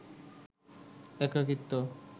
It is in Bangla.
একাকীত্ব